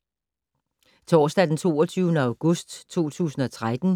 Torsdag d. 22. august 2013